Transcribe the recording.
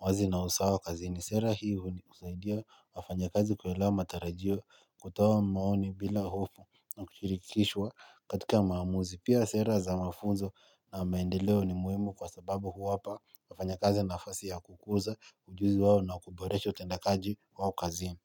uwazi na usawa kazini sera hii husaidia wafanyakazi kuelewa matarajio kutoa maoni bila hofu na kushirikishwa katika maamuzi pia sera za mafunzo na maendeleo ni muhimu kwa sababu huwapa wafanyakazi nafasi ya kukuza ujuzi wao na kuboresho utendaji wao kazi.